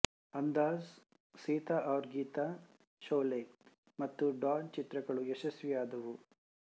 ಅಂದಾಜ್ ಸೀತಾ ಔರ್ ಗೀತಾ ಶೊಲೆ ಮತ್ತು ಡಾನ್ ಚಿತ್ರಗಳು ಯಶಸ್ವಿಯಾದವು